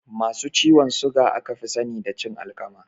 Masu ciwon suga aka fi sani da cin alkama